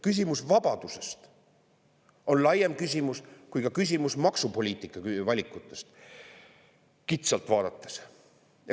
Küsimus vabadusest on laiem küsimus kui küsimus maksupoliitika valikutest kitsalt vaadates.